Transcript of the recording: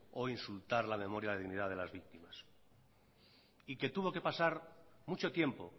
o insultar la memoria y dignidad de las víctimas y que tuvo que pasar mucho tiempo